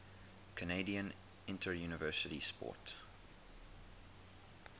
canadian interuniversity sport